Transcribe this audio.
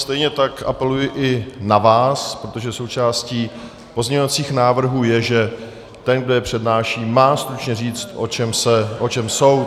Stejně tak apeluji i na vás, protože součástí pozměňovacích návrhů je, že ten, kdo je přednáší, má stručně říct, o čem jsou.